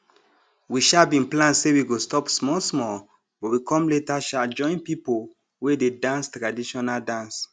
we um bin plan say we go stop small small but we com later um join pipo wey dey dance traditional dance